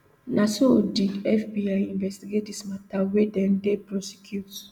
na so did fbi investigate dis mata wia dem dey prosecute